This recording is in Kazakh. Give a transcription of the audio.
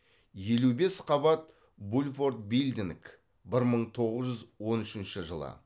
елу бес қабат булворт билдинг бір мың тоғыз жүз он үшінші жылы